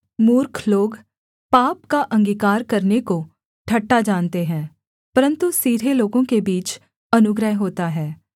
मूर्ख लोग पाप का अंगीकार करने को ठट्ठा जानते हैं परन्तु सीधे लोगों के बीच अनुग्रह होता है